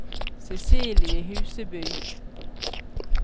Cecilie Huseby